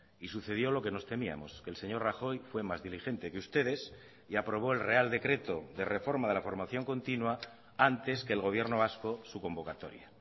y sucedió lo que nos temíamos que el señor rajoy fue más diligente que ustedes y aprobó el real decreto de reforma de la formación continua antes que el gobierno vasco su convocatoria